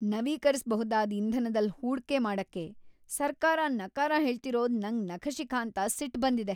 ನವೀಕರಿಸ್ಬಹುದಾದ್ ಇಂಧನದಲ್ ಹೂಡ್ಕೆ ಮಾಡಕ್ಕೆ ಸರ್ಕಾರ ನಕಾರ ಹೇಳ್ತಿರೋದು ನಂಗ್‌ ನಖಶಿಖಾಂತ ಸಿಟ್ಟ್‌ ಬಂದಿದೆ.